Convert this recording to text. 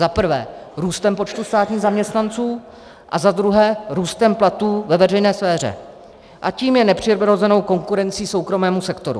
Za prvé růstem počtu státních zaměstnanců a za druhé růstem platů ve veřejné sféře, a tím je nepřirozenou konkurencí soukromému sektoru.